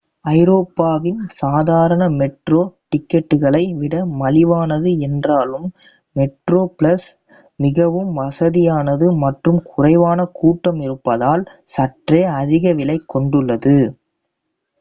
ஐரோப்பாவின் சாதாரண மெட்ரோ டிக்கெட்டுகளை விட மலிவானது என்றாலும் மெட்ரோப்ளஸ் மிகவும் வசதியானது மற்றும் குறைவான கூட்டம் இருப்பதால் சற்றே அதிக விலை கொண்டுள்ளது